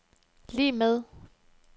lig med